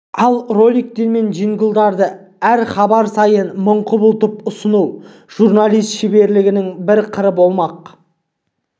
ал роликтер мен джинглдарды әр хабар сайын мың құбылтып ұсыну журналист шеберлігінің бір қыры болмақ